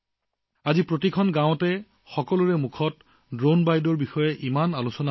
আজি গাঁওখনত ড্ৰোন দিদি বিষয়টো ইমানেই চৰ্চা হৈছে যে সকলোৰে মুখত নমো ড্ৰোন দিদি নমো ড্ৰোন দিদিৰ শব্দ শুনা যায়